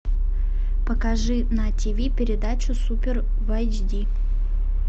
покажи на тиви передачу супер в айч ди